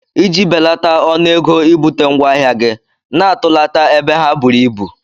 Iji belata ọnụego ibute ngwaahịa gi, na-atụlata ebe ha buru ibu.